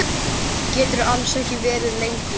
Geturðu alls ekki verið lengur?